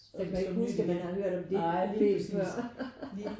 Så kan du ikke huske at man har hørt om det problem før